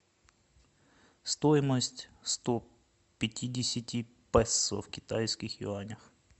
стоимость сто пятидесяти песо в китайских юанях